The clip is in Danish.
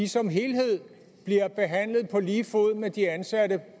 som helhed bliver behandlet på lige fod med de ansatte